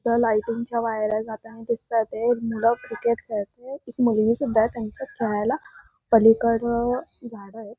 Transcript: त्या लायटिंग च्या वायऱ्या जाताना दिसताते. मुलं क्रिकेट खेळते. एक मुलगी सुद्धा त्यांच्यात खेळायला पलीकडं झाडं एत.